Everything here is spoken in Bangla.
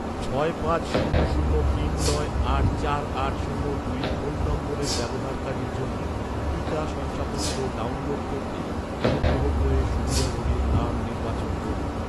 ছয় পাঁচ শূন্য শূন্য তিন নয় আট চার আট শূন্য দুই ফোন নম্বরের ব্যবহারকারীর জন্য, টিকা শংসাপত্র ডাউনলোড করতে, অনুগ্রহ করে সুবিধাভোগীর নাম নির্বাচন করুন